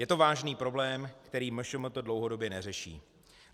Je to vážný problém, který MŠMT dlouhodobě neřeší.